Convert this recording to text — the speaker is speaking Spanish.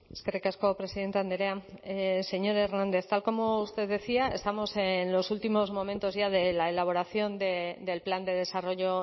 eskerrik asko presidente andrea señor hernández tal como usted decía estamos en los últimos momentos ya de la elaboración del plan de desarrollo